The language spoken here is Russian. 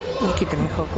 никита михалков